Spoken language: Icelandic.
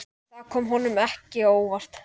Það kom honum ekki á óvart.